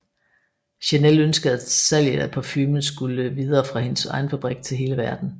Chanel ønskede at salget af parfumen skulle videre fra hendes egen butik til hele verden